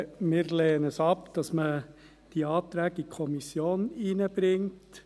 Wir lehnen es ab, dass man die Anträge in die Kommission bringt.